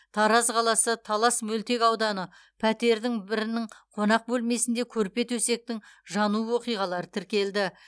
тараз қаласы талас мөлтек ауданы пәтердің бірінің қонақ бөлмесінде көрпе төсектің жану оқиғалары тіркелді